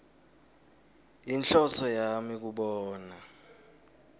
yinhloso yami kubona